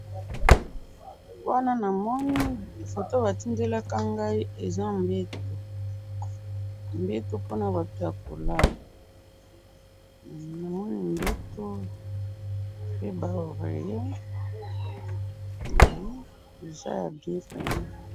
wana namoni foto batindelaka ngayi eza mbetu mbetu pona batu ya kolala namoni mbetu pe ba oreillet eza ya bien vraiment